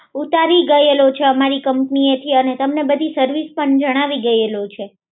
ઉતારી ગયેલો છો અમારી કંપની એથી અને તમને બધું સર્વિસ પણ જણાવી ગયેલો છે